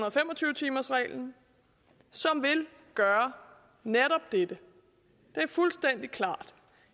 og fem og tyve timers reglen som vil gøre netop dette det er fuldstændig klart